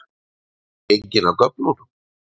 Ertu gengin af göflunum?